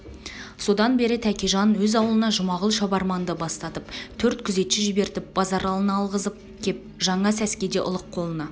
содан бері тәкежан өз аулына жұмағұл шабарманды бастатып төрт күзетші жібертіп базаралыны алғызып кеп жаңа сәскеде ұлық қолына